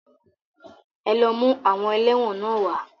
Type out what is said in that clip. Ẹ lọ mú àwọn ẹlẹ́wọ̀n náà wá.